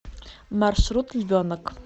маршрут львенок